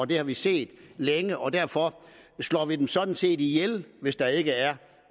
det har vi set længe og derfor slår vi sådan set erhvervet ihjel hvis der ikke er